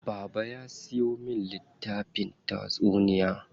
Baba ya siyo min littafin tatsuniya.